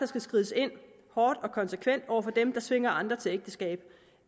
skal skrides hårdt og konsekvent ind over for dem der tvinger andre til ægteskab